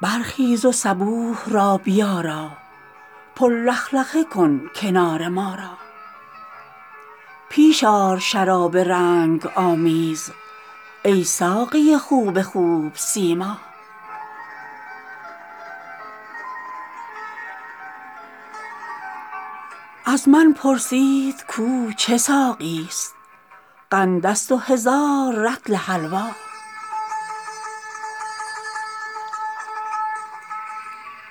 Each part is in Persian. برخیز و صبوح را بیارا پر لخلخه کن کنار ما را پیش آر شراب رنگ آمیز ای ساقی خوب خوب سیما از من پرسید کو چه ساقیست قندست و هزار رطل حلوا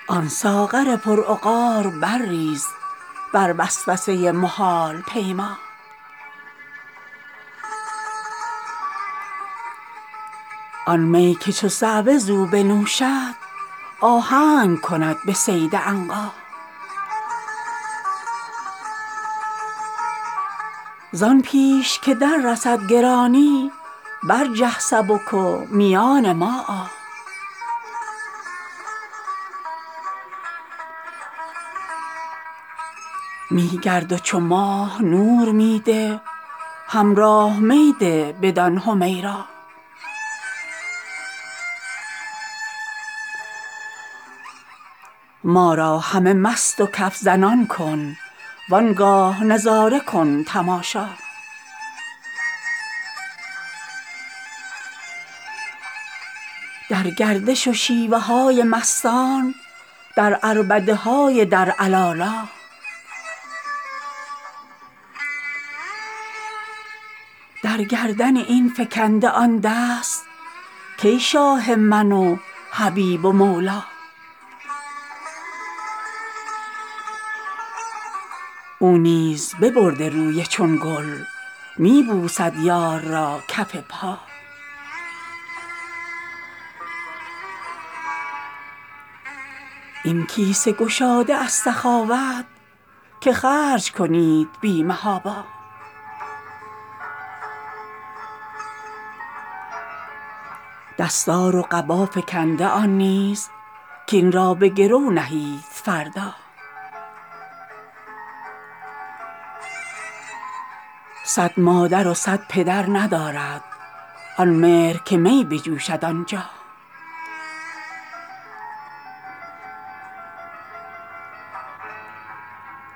آن ساغر پرعقار برریز بر وسوسه محال پیما آن می که چو صعوه زو بنوشد آهنگ کند به صید عنقا زان پیش که دررسد گرانی برجه سبک و میان ما آ می گرد و چو ماه نور می ده حمرا می ده بدان حمیرا ما را همه مست و کف زنان کن وان گاه نظاره کن تماشا در گردش و شیوه های مستان در عربده های در علالا در گردن این فکنده آن دست کان شاه من و حبیب و مولا او نیز ببرده روی چون گل می بوسد یار را کف پا این کیسه گشاده از سخاوت که خرج کنید بی محابا دستار و قبا فکنده آن نیز کاین را به گرو نهید فردا صد مادر و صد پدر ندارد آن مهر که می بجوشد آنجا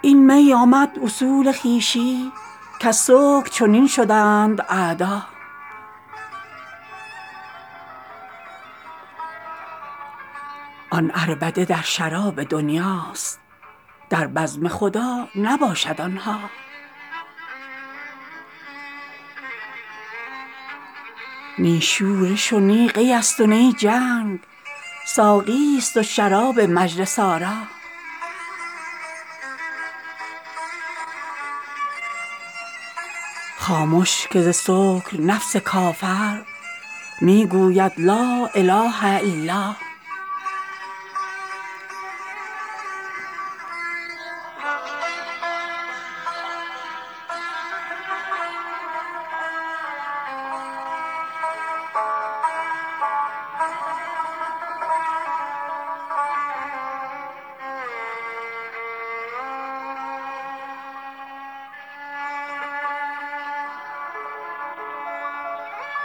این می آمد اصول خویشی کز سکر چنین شدند اعدا آن عربده در شراب دنیاست در بزم خدا نباشد آن ها نی شورش و نی قیست و نی جنگ ساقیست و شراب مجلس آرا خامش که ز سکر نفس کافر می گوید لا اله الا